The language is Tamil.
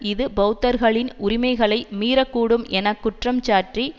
இது பெளத்தர்களின் உரிமைகளை மீறக்கூடும் என குற்றம்சாட்டி